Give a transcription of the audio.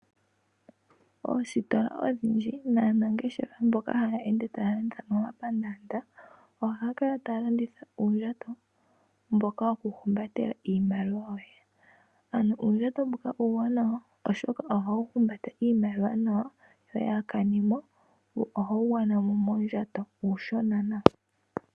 Oositola odhindji naanangeshefa mboka haya ende taya landitha momapandaanda ohaya kala taya landitha uundjato mboka woku humbatela iimaliwa yoye , ano uundjato mbuka uuwanawa oshoka ohawu humbata iimaliwa nawa opo yaakane mo, wo ohawu gwanamo mondjato, uushona nawa.